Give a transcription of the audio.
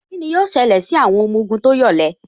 Kíni yóò ṣẹlẹ̀ sí àwọn ọmọ ogun tó yọ̀lẹ